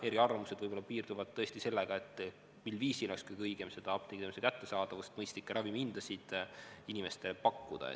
Eriarvamused võib-olla piirduvad tõesti sellega, mil viisil oleks kõige õigem seda apteegiteenuse kättesaadavust ja mõistlikke ravimihindasid inimestele pakkuda.